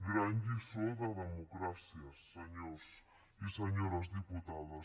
gran lliçó de democràcia senyors i senyores diputades